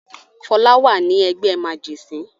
Fọlá wà ní ẹgbẹ́ màjẹ̀sín.